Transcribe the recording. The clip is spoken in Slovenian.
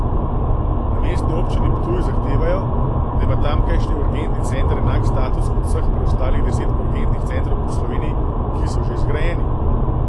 Na Mestni občini Ptuj zahtevajo, da ima tamkajšnji urgentni center enak status kot vseh preostalih deset urgentnih centrov po Sloveniji, ki so že zgrajeni.